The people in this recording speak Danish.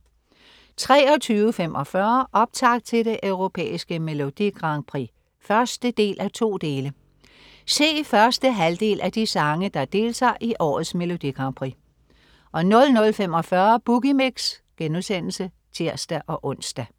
23.45 Optakt til det Europæiske Melodi Grand Prix 1:2. Se første halvdel af de sange, der deltager i årets Melodi Grand Prix 00.45 Boogie Mix* (tirs-ons)